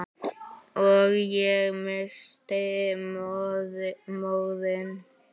Og ég missti móðinn.